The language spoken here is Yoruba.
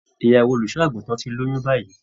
Ìyàwó olùṣọ àgùntàn tí lóyún báyìí.